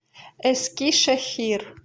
эскишехир